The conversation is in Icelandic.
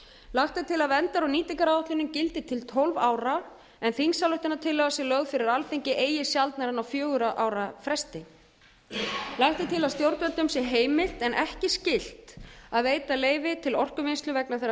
lagt er til að verndar og nýtingaráætlunin gildi til tólf ára en þingsályktunartillaga sé lögð fyrir alþingi eigi sjaldnar en á fjögurra ára fresti lagt er til að stjórnvöldum sé h heimil en ekki skylt að veita leyfi til orkuvinnslu vegna þeirra